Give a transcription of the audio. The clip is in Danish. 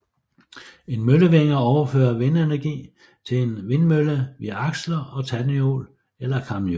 En møllevinge overfører vindenergi til en vindmølle via aksler og tandhjul eller kamhjul